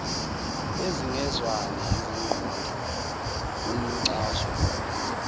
ezingezwani ziqonda kumxazululi